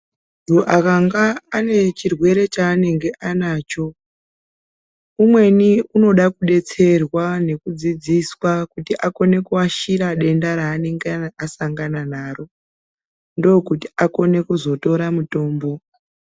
Munthu akanga ane chirwere chaanenge anacho umweni unode kudetserwa nekudzidziswa kuti akone kuashira denda raanenge asangana naro ndookuti akone kuzotora mutombo.